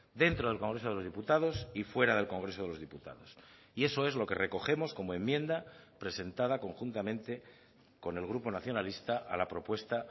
dentro del congreso de los diputados y fuera del congreso de los diputados y eso es lo que recogemos como enmienda presentada conjuntamente con el grupo nacionalista a la propuesta